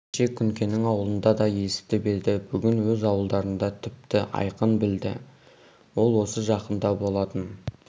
кеше күнкенің аулында да есітіп еді бүгін өз ауылдарында тіпті айқын білді ол осы жақында болатын